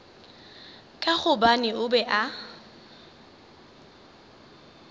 ka gobane o be a